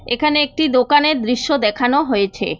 এখানে একটি দোকানের দৃশ্য দেখানো হয়েছে।